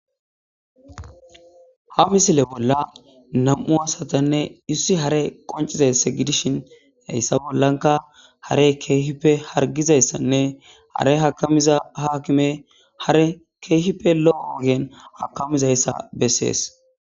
Ha misile bolla nam7u asatanne issi hare qoncizayssa gidishin hayssa bollanka hare keehippe hargizayssanne hare hakamiza haakime hare keehippe lo7o ogen hakamizayssa bessees.